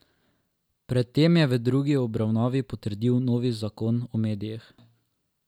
Pred tem je v drugi obravnavi potrdil novi zakon o medijih.